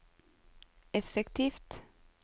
effektivt